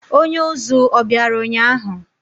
Onye uzú o biara ụnyahụ?